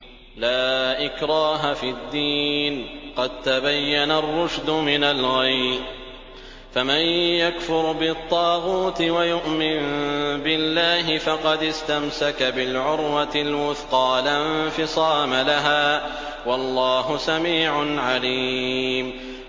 لَا إِكْرَاهَ فِي الدِّينِ ۖ قَد تَّبَيَّنَ الرُّشْدُ مِنَ الْغَيِّ ۚ فَمَن يَكْفُرْ بِالطَّاغُوتِ وَيُؤْمِن بِاللَّهِ فَقَدِ اسْتَمْسَكَ بِالْعُرْوَةِ الْوُثْقَىٰ لَا انفِصَامَ لَهَا ۗ وَاللَّهُ سَمِيعٌ عَلِيمٌ